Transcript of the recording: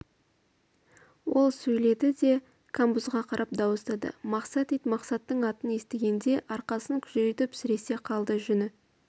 ол сөйдеді де камбузға қарап дауыстады мақсат ит мақсатның атын естігенде арқасын күжірейтіп сіресе қалды жүні